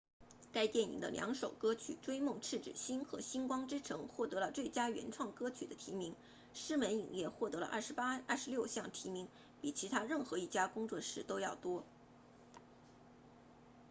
该电影的两首歌曲追梦痴子心和星光之城获得了最佳原创歌曲的提名狮门影业获得了26项提名比其他任何一家工作室都要多